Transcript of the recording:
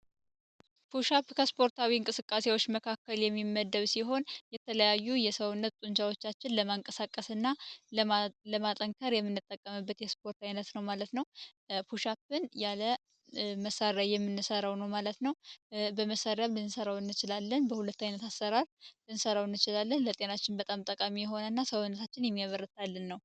ፑሻፕ ከስፖርታዊ እንቅስቃሴዎች መካከል የሚመደብ ሲሆን የተለያዩ የሰውነት ጡንቻዎቻችን ለማንቀሳቀስ እና ለማጠንካር የሚነጠቀምበት የስፖርት አይነት ነው ማለት ነው። ፑሻፕን ያለ መሳሪያ የምንሠራው ነው ማለት ነው። በመሣሪያ ብቻ ልንሰራው ይችላለን። በሁለት ዓይነት አሰራር ልንሰራው እችላለን። ለጤናችን በጣም ጠቃሚ የሆነ እና ሰውነታችን የሚበርታልን ነው።